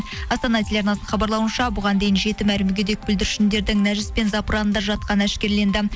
астана теларнасының хабарлауынша бұған дейін жетім әрі мүгедек бүлдіршіндердің нәжіс пен запыранда жатқаны әшкереленді